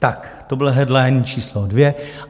Tak to byl headline číslo dvě.